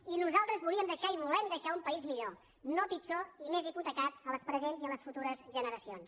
i nosaltres volíem deixar i volem deixar un país millor no pitjor ni més hipotecat a les presents i a les futures generacions